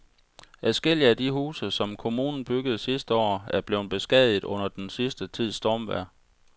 Adskillige af de huse, som kommunen byggede sidste år, er blevet beskadiget under den sidste tids stormvejr.